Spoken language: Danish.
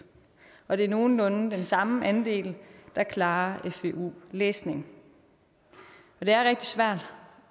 og det er nogenlunde den samme andel der klarer fvu læsning det er rigtig svært